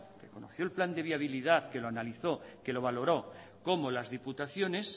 que conoció el plan de viabilidad que lo analizó que lo valoró como las diputaciones